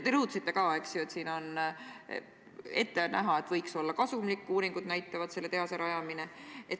Te rõhutasite ka, et siin on ette näha – uuringud näitavad seda –, et tehase rajamine võiks olla kasumlik.